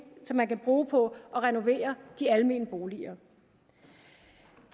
som man kan bruge på at renovere de almene boliger